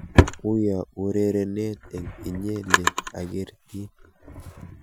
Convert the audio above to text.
Uyo urerenet eng inye le agertin.